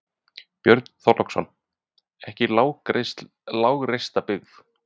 Björn Þorláksson: Ekki lágreista byggð?